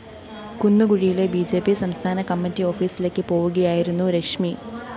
കുന്നുകുഴിയിലെ B J P സംസ്ഥാന committee ഓഫീസിലേക്ക് പോവുകയായിരുന്നു രശ്മി